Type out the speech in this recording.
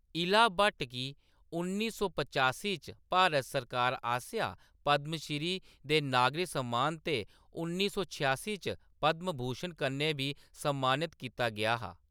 इला भट्ट गी उन्नी सौ पचासीं च भारत सरकार आसेआ पद्म श्री दे नागरक सम्मान ते उन्नी सौ छेआसी च पद्म भूषण कन्नै बी सम्मानत कीता गेआ हा।